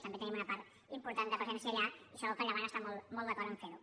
també tenim una part important de presència allà i segur que el llevant està molt molt d’acord en fer ho